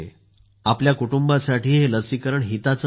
आपल्या कुटुंबासाठी हे लसीकरण हिताचेच आहे